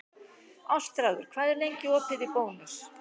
Ástráður, hvað er lengi opið í Bónus?